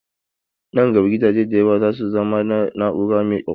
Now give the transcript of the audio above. Nan gaba gidaje da yawa za su zama na na'ura mai ƙwaƙwalwa.